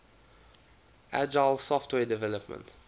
agile software development